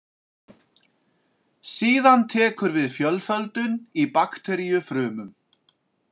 Síðan tekur við fjölföldun í bakteríufrumum.